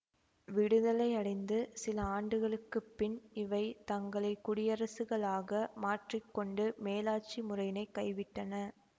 விடுதலையடைந்து சில ஆண்டுகளுக்கு பின் இவை தங்களை குடியரசுகளாக மாற்றி கொண்டு மேலாட்சி முறையினைக் கைவிட்டன